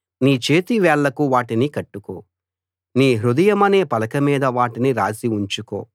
నీ చేతి వేళ్లకు వాటిని కట్టుకో నీ హృదయమనే పలక మీద వాటిని రాసి ఉంచుకో